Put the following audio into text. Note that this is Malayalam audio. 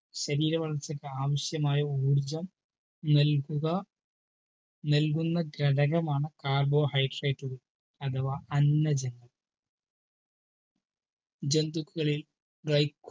ശരീര വളർച്ചയ്ക് ആവിശ്യമായ ഊർജം നൽകുക നൽകുക ഘടകമാണ് carbohydrate കൾ അഥവാ അന്നജങ്ങൾ ജന്തുക്കളിൽ